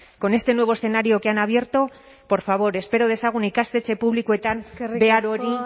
con este nuevo escenario que han abierto por favor espero dezagun ikastetxe publikoetan behar hori